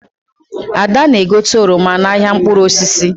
Ada na-egote oroma n'ahịa mkpụrụ osisi.